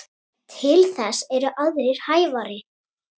Til þess eru aðrir hæfari.